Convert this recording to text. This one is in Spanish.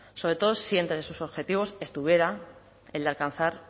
sobre todo si entre sus objetivos estuviera el de alcanzar